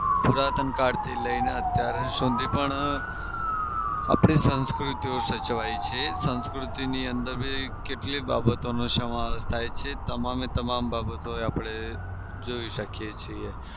પુરાતન કાળથી લઈને અત્યાર સુધી પણ આપડી સાંસ્કૃતિ સાચવી છે. સાંસ્કૃતિની અંદર બી પણ કેટલીય બાબતોનો સમાવેશ થાય છે તમામ એ તમામ બાબતો આપડે જોઈ શકીએ છીએ.